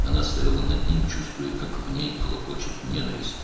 O, onun üzərində durmuşdu, içində nifrətin qaynayıb-daşdığını hiss edirdi.